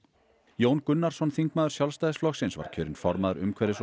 Jón Gunnarsson þingmaður Sjálfstæðisflokksins var kjörinn formaður umhverfis og